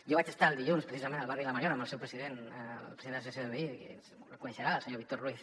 jo vaig estar el dilluns precisament al barri la mariola amb el seu president el president de l’associació de veïns el deu conèixer el senyor víctor ruiz